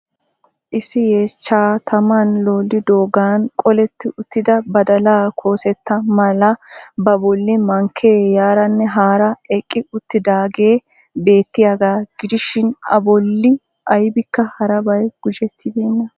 Issi yeechchaa tamaan looliddoogaan qooletti uttida badalaa koosetta mala ba bolli mankee yaaranne haaraa eqqi uttidaagee beettiyaagaa gidishiin a bolli aybikka harabay gujettibeenna.